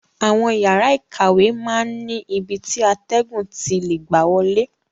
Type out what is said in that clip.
Àwọn yàrá ìkàwé máa n ni ibi ti atẹgun ti lè gbà wọlé.